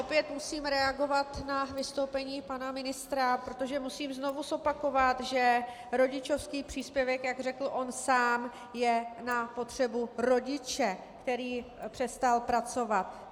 Opět musím reagovat na vystoupení pana ministra, protože musím znovu zopakovat, že rodičovský příspěvek, jak řekl on sám, je na potřebu rodiče, který přestal pracovat.